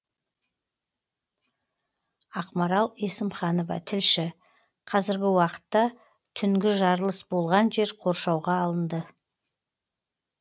ақмарал есімханова тілші қазіргі уақытта түнгі жарылыс болған жер қоршауға алынды